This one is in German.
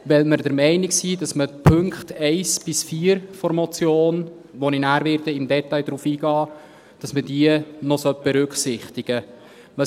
Weil wir der Meinung sind, dass man die Punkte 1 bis 4 der Motion, auf die ich nachher im Detail eingehen werde, noch berücksichtigen sollte.